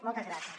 moltes gràcies